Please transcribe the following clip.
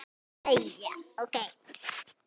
Jæja, ókei.